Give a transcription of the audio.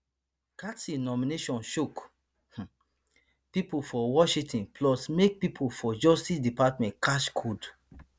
gaetz nomination shock um pipo for washington plus make pipo for justice department catch cold